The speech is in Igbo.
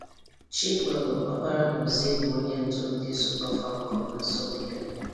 Chikwelu Oparanozie bụ onye ndụ ndị Super Falcon na asọmpị a.